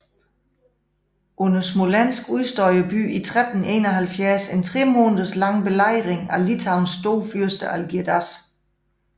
Under Smolensk udstod byen i 1371 en tremåneders lang belejring af Litauens storfyrste Algirdas